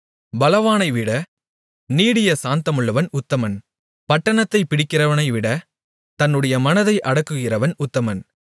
பலவானைவிட நீடிய சாந்தமுள்ளவன் உத்தமன் பட்டணத்தைப் பிடிக்கிறவனைவிட தன்னுடைய மனதை அடக்குகிறவன் உத்தமன்